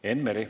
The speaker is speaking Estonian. Enn Meri.